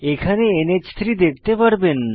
এখানে নাহ3 দেখতে পারবেন